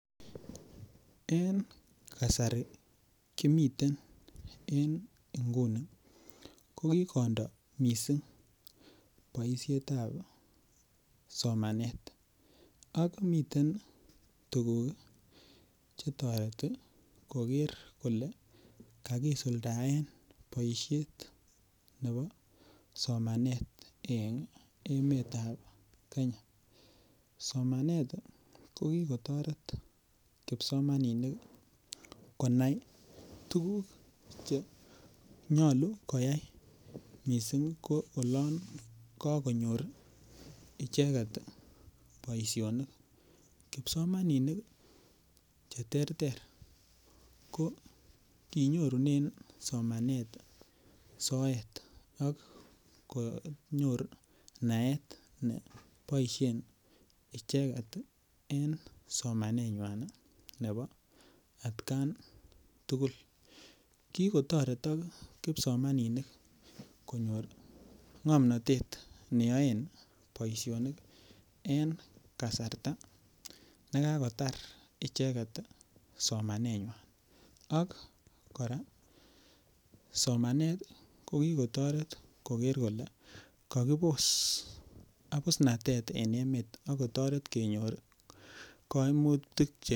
En kasari kimiten en inguni kokikondoo missing boisietab somanet miten tuguk chetoreti koker kole kakisuldaen boisiet nebo somanet en emetab kenya somanet kokikotoret kipsomaninik konai tuguk chenyolu koyai missing ko olon kakonyor icheket boisionik kipsomaninik cheterter ko kinyorunen somanet soet akonyor naet neboisien icheket en somanenywan ne bo atkan tugul kikotoretok kipsomaninik konyor ng'omnotet neyoen boisionik en kasarta nekakotar icheketi ii somanenywan ak kora somanet kokikotoret koker kole kakibos abusnatet en emet akotoret kenyor kaimutik che.